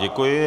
Děkuji.